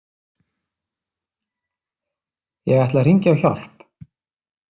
Ég ætla að hringja á hjálp